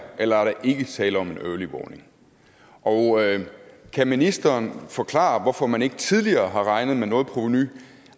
eller er der ikke tale om en early warning og kan ministeren forklare hvorfor man ikke tidligere har regnet med noget provenu